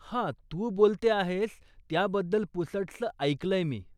हा, तू बोलते आहेस त्याबद्दल पुसटसं ऐकलय मी.